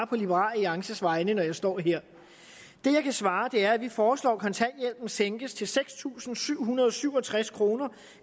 på liberal alliances vegne når jeg står her det jeg kan svare er at vi foreslår at kontanthjælpen sænkes til seks tusind syv hundrede og syv og tres kr